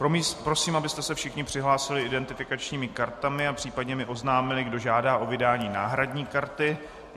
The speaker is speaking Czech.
Prosím, abyste se všichni přihlásili identifikačními kartami a případně mi oznámili, kdo žádá o vydání náhradní karty.